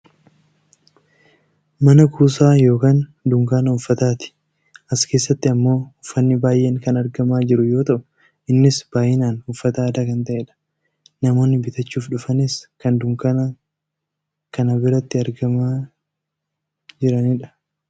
mana kuusaa yookaa dunkaana uffataati. as keessatti ammoo uffanni baayyeen kan argamaa jiru yoo ta'u innis baayyinaan uffata aadaa kan ta'edha. namoonni bitachuuf dhufanis kan dunkaana kana biratti argamaa jiranidha.